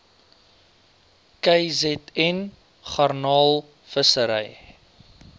kzn garnaal visserye